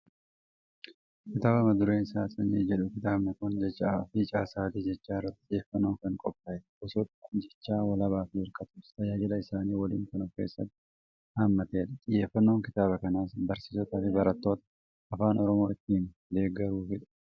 Kitaaba mata dureen isaa "Sanyii" jedhu. Kitaabni kun jechaa fi caasaalee jechaa irratti xiyyeeffannoon kan qophaa'edha. Gosoota dham-jecha walabaa fi hirkatoos tajaajila isaanii waliin kan ofkeessatti haammatedha. Xiyyeeffannoon kitaaba kanaas; Barsiisotaa fi barattoota afaan Oromoo ittiin deeggaruufidha.